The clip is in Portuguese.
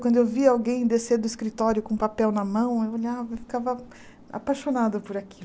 Quando eu via alguém descer do escritório com papel na mão, eu olhava e ficava apaixonada por